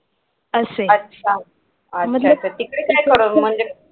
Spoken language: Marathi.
तिकडे काय करत होता म्हणजे